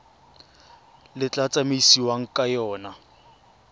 le tla tsamaisiwang ka yona